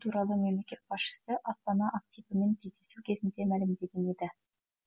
туралы мемлекет басшысы астана активімен кездесу кезінде мәлімдеген еді